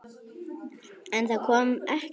En það kom ekkert svar.